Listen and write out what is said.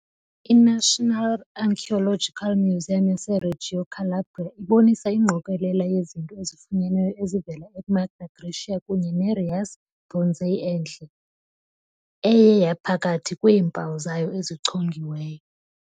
I -National Archaeological Museum yaseReggio Calabria ibonisa ingqokelela yezinto ezifunyenweyo ezivela eMagna Graecia kunye ne- Riace Bronzes enhle, eye yaba phakathi kweempawu zayo ezichongiweyo.